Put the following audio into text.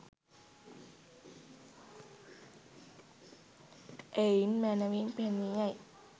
එයින් මැනැවින් පෙනී යයි.